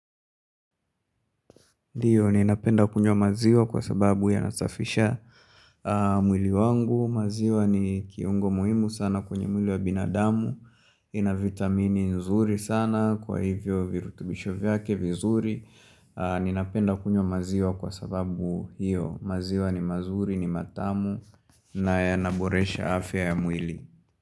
Ndiyo ninapenda kunywa maziwa kwa sababu yanasafisha mwili wangu, maziwa ni kiungo muhimu sana kwenye mwili wa binadamu, ina vitamini nzuri sana kwa hivyo virutubisho vyake vizuri, ninapenda kunywa maziwa kwa sababu hiyo maziwa ni mazuri ni matamu na yanaboresha afya ya mwili.